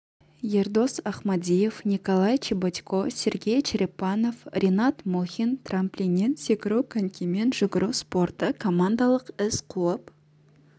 ердос ахмадиев николай чеботько сергей черепанов ринат мұхин трамплиннен секіру конькимен жүгіру спорты командалық із қуып